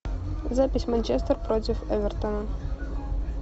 запись манчестер против эвертона